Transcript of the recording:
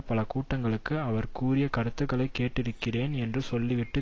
பல கூட்டங்களில் அவர் கூறிய கருத்துக்களை கேட்டிருக்கிறேன் என்று சொல்லிவிட்டு